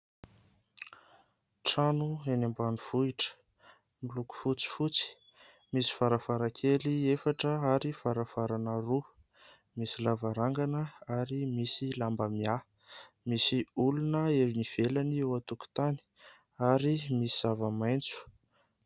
Trano eny ambanivohitra, miloko fotsifotsy, misy varavarankely efatra ary varavarana roa, misy lavarangana ary misy lamba miahy, misy olona eny ivelany eo an-tokotany ary misy zava-maitso.